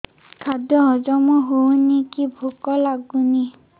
ଖାଦ୍ୟ ହଜମ ହଉନି କି ଭୋକ ଲାଗୁନି